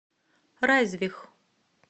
райзвих